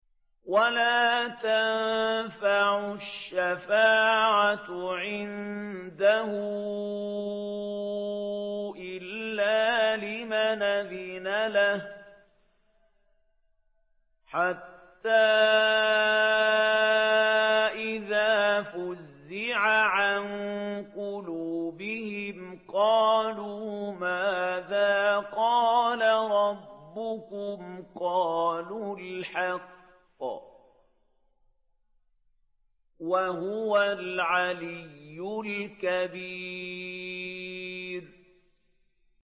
وَلَا تَنفَعُ الشَّفَاعَةُ عِندَهُ إِلَّا لِمَنْ أَذِنَ لَهُ ۚ حَتَّىٰ إِذَا فُزِّعَ عَن قُلُوبِهِمْ قَالُوا مَاذَا قَالَ رَبُّكُمْ ۖ قَالُوا الْحَقَّ ۖ وَهُوَ الْعَلِيُّ الْكَبِيرُ